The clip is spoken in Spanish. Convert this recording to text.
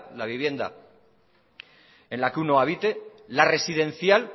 la vivienda en la que uno habite la residencial